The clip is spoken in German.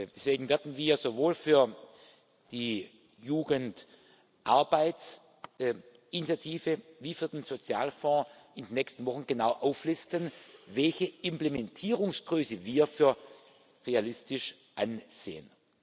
Deswegen werden wir sowohl für die Jugend Arbeitsinitiative wie für den Sozialfonds in den nächsten Wochen genau auflisten, welche Implementierungsgröße wir für realistisch ansehen.